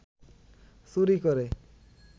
চুরি করে